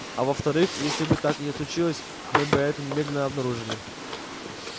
а во вторых если бы так и случилось мы бы это немедленно обнаружили